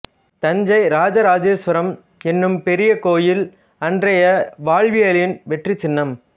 தஞ்சை இராஜராஜேஸ்வரம் என்னும் பெரிய கோவில் அன்றைய வாழவியலின் வெற்றி சின்னம்